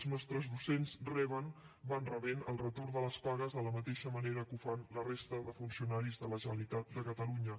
els nostres docents van rebent el retorn de les pagues de la mateixa manera que ho fan la resta de funcionaris de la generalitat de catalunya